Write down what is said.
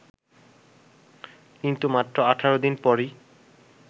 কিন্তু মাত্র ১৮ দিন পরই